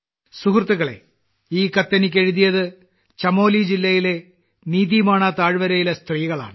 സുഹൃത്തുക്കളേ ഈ കത്ത് എനിക്ക് എഴുതിയത് ചമോലി ജില്ലയിലെ നീതിമാണ താഴ്വരയിലെ സ്ത്രീകളാണ്